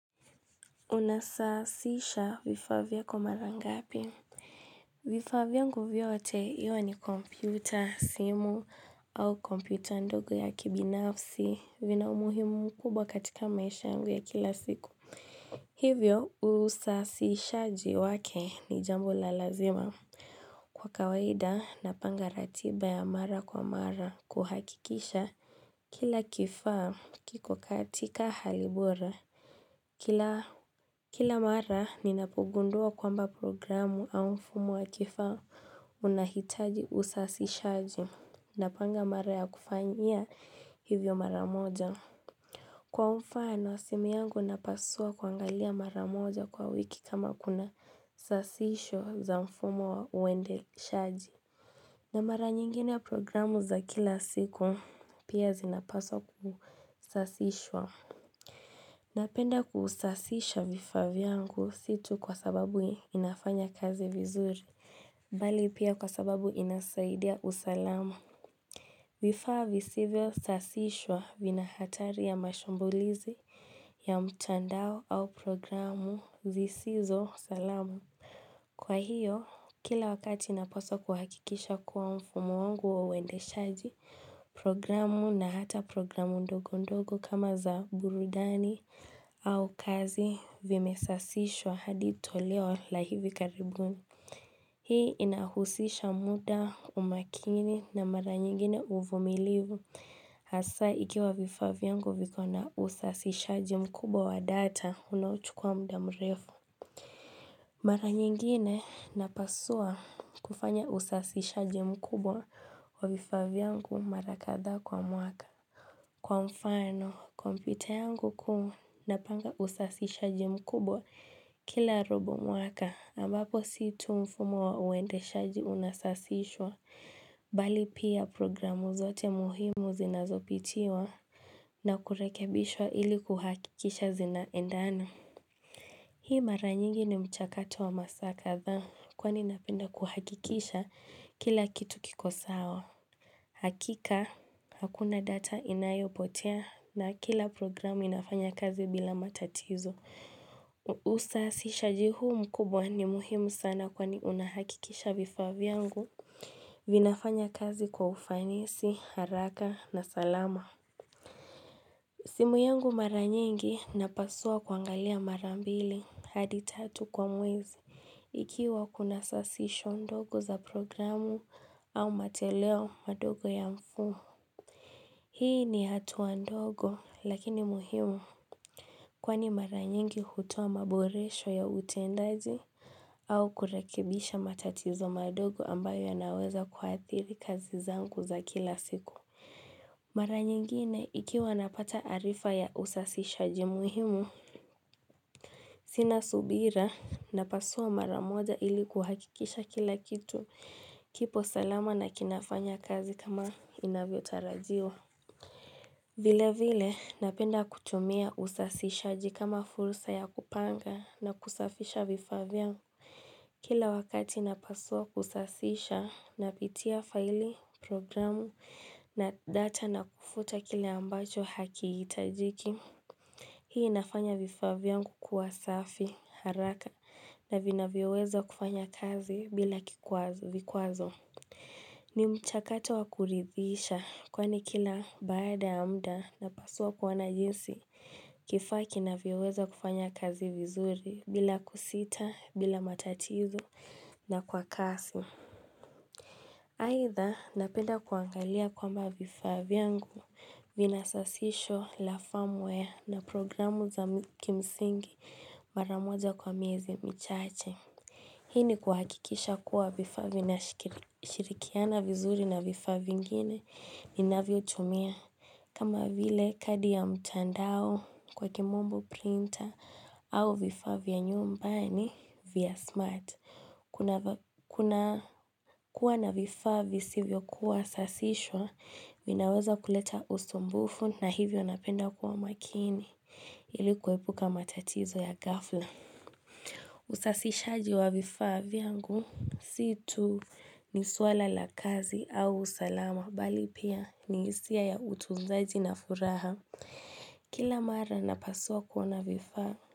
Unasafisha vifa vyako marangapi vifaa vyangu vyote iwe ni kompyuta simu au kompyuta ndogo ya kibinafsi vina umuhimu mkubwa katika maisha yangu ya kila siku Hivyo usafishaji wake ni jambo la lazima Kwa kawaida napanga ratiba ya mara kwa mara kuhakikisha Kila kifaa kiko katika halibora Kila mara ninapogundua kwamba programu au mfumo wa kifaa unahitaji usafishaji na panga mara ya kufanyia hivyo mara moja. Kwa mfano, simi yangu napasua kuangalia mara moja kwa wiki kama kuna sasisho za mfumu wa uende shaji. Na mara nyingine ya programu za kila siku pia zinapaswa kusasishwa. Napenda kusasisha vifavyangu situ kwa sababu inafanya kazi vizuri. Bali pia kwa sababu inasaidia usalamu. Vifavy sivyo sasishwa vina hatari ya mashumbulizi ya mtandao au programu zisizo salamu. Kwa hiyo, kila wakati inapaswa kuhakikisha kuwa mfumo wangu wa uwende shaji, programu na hata programu ndogo ndogo kama za burudani au kazi vimesasishwa hadi toleo la hivi karibuni. Hii inahusisha muda umakini na mara nyingine uvumilivu, hasa ikiwa vifa vyangu viko na usasishaji mkubwa wa data unachukua mdamrefu. Mara nyingine napasua kufanya usasishaji mkubwa wa vifavyangu mara katha kwa mwaka. Kwa mfano, kompyuta yangu kuu napanga usasishaji mkubwa kila robo mwaka ambapo situ mfumo wa uende shaji unasasishwa bali pia programu zote muhimu zinazopitiwa na kurekebishwa ili kuhakikisha zinaendana. Hii mara nyingi ni mchakato wa masaka dha kwani napenda kuhakikisha kila kitu kikosawa. Hakika, hakuna data inayo potea na kila programu inafanya kazi bila matatizo. Usasishaji huu mkubwa ni muhimu sana kwani unahakikisha vifaa vyangu. Vinafanya kazi kwa ufanisi, haraka na salama. Simu yangu mara nyingi napasua kuangalia marambili hadi tatu kwa mwezi ikiwa kuna sasisho ndogo za programu au matoleo madogo ya mfumo. Hii ni hatuwa ndogo lakini muhimu kwani maranyengi hutoa maboresho ya utendaji au kurekebisha matatizo madogo ambayo yanaweza kuathiri kazi zangu za kila siku. Mara nyingine ikiwa napata tarifa ya usasishaji muhimu, sina subira na pasua mara moja ili kuhakikisha kila kitu kipo salama na kinafanya kazi kama inavyo tarajiwa. Vile vile napenda kutumia usasishaji kama fursa ya kupanga na kusafisha vifavya. Kila wakati napasua kusasisha, napitia faili, programu, na data na kufuta kile ambacho haki itajiki. Hii inafanya vifa vyangu kuwa safi, haraka, na vina vyoweza kufanya kazi bila kikwazo. Ni mchakato wakuridhisha kwani kila baada ya mda na paswa kuwa na jinsi kifaa kina vyoweza kufanya kazi vizuri bila kusita bila matatizo na kwa kasi. Aitha napenda kuangalia kwamba vifaa vyangu vinasasisho lafamwea na programu za kimsingi maramoja kwa miezi michache. Hii ni kuhakikisha kuwa vifaa vina shirikiana vizuri na vifa viingine ni navyo tumia. Kama vile kadi ya mtandao kwa kimombo printer au vifavi ya nyumbani via smart. Kuna kuwa na vifavi sivyo kuwa sasishwa, minaweza kuleta usumbufu na hivyo napenda kuwa makini ilikuwepuka matatizo ya gafla. Usasisha jiwa vifaa vyangu siitu ni suala la kazi au usalama bali pia ni isia ya utunzaji na furaha kila mara na paswa kuwa na vifaa.